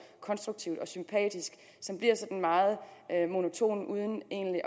konstruktivt og sympatisk som bliver sådan meget monotone uden egentlig